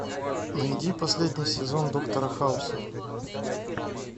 найди последний сезон доктора хауса